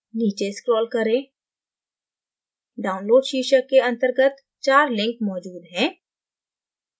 नीचे scroll करें download शीर्षक के अंतर्गत चार links मौजूद हैं